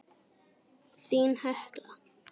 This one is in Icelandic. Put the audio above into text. Þín Hekla.